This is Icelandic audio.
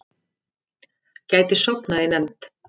Gæti sofnað í nefnd